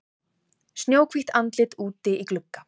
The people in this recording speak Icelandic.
Snjóhvítt andlit úti í glugga.